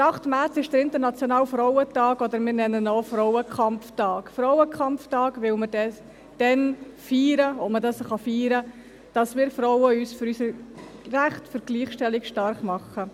Der 8. März ist der internationale Frauentag, oder wir nennen ihn auch Frauenkampftag: Frauenkampftag, weil wir dann feiern, was man feiern kann, dass wir Frauen uns für unsere Rechte und für die Gleichstellung stark machen.